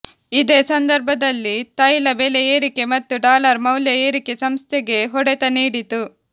ಇದೇ ಸಂದರ್ಭದಲ್ಲಿ ತೈಲ ಬೆಲೆ ಏರಿಕೆ ಮತ್ತು ಡಾಲರ್ ಮೌಲ್ಯ ಏರಿಕೆ ಸಂಸ್ಥೆಗೆ ಹೊಡೆತ ನೀಡಿತು